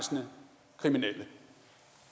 det